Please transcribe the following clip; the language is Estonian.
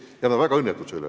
Ja nad on väga õnnetud selle üle.